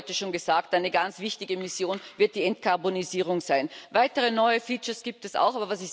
Es wurde heute schon gesagt Eine ganz wichtige Mission wird die Entkarbonisierung sein. Weitere neue features gibt es auch.